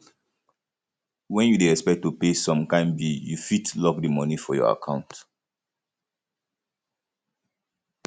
when you dey expect to pay some kind bill you fit lock di money for your account